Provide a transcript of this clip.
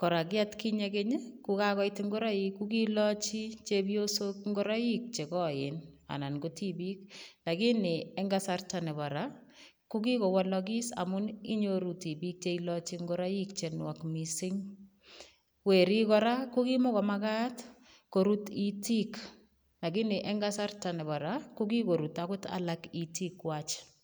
kora kiatkinye keny kingokakoit ngoroik, ko kiilachi chepyosok ngoroik chekoen anan ko tibik lakini eng kasarta nebora kokikowalakis amun inyoru tibik cheilachi ngoroik cheinwogen kot mising, werik kora kokimamakaat korut itik lakini eng kasarta nebora kokikorut akot alak itik kwach.